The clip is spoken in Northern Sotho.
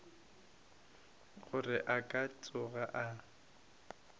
gore a ka tsoga a